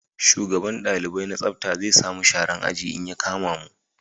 Shugaban dalibai na tsafta zai sa mu sharan aji in ya kama mu